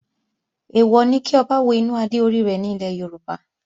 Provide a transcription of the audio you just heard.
Èèwọ̀ ni kí Ọba wo inú adé orí rẹ̀ ní ilẹ̀ Yorùbá